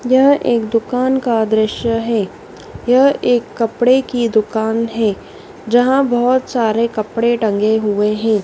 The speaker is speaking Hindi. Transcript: यह एक दुकान का दृश्य है। यह एक कपड़े की दुकान है जहाँ बहोत सारे कपड़े टंगे हुए हैं।